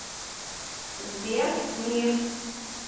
сбер мир